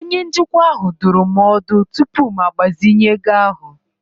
Onye njikwa ahụ dụrụ m ọdụ tupu m agbazinye ego ahụ.